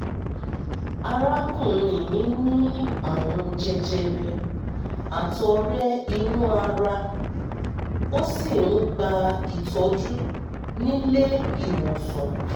arákùnrin mi ní àrùn jẹjẹrẹ àtọ̀rẹ́ inú ara ó sì ń gba ìtọ́jú nílé ìwòsàn